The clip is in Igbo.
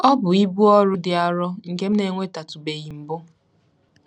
Ọ bụ ibu ọrụ dị arọ nke m na-enwetatụbeghị mbụ.